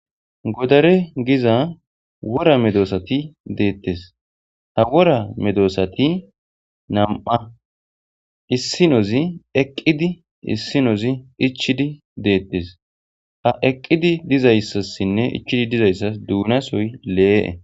godare giza wora medoosati deettes ha wora medoosati nam7a issinozi eqqidi issinozi ichchidi deettes ha eqqidi dizayssassinne ichchidi dizayssas duunasoy lee7e